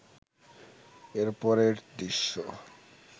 এরপরের দৃশ্য